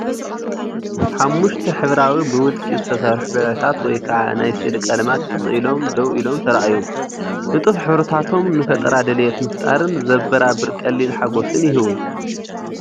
ሓሙሽተ ሕብራዊ ብውልቂ ዝተሰርሑ ብርዒታት ወይ ከዓ ናይ ስእሊ ቀለማት ትኽ ኢሎም ደው ኢሎም ተራእዮም። ንጡፍ ሕብርታቶም ንፈጠራን ድሌት ምፍጣርን ዘበራብር ቀሊል ሓጎስ ይህቡ።